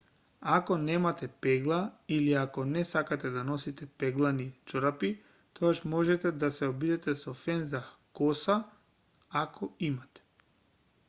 ако немате пегла или ако не сакате да носите пеглани чорапи тогаш можете да се обидете со фен за коса ако имате